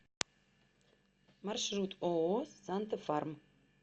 маршрут ооо санта фарм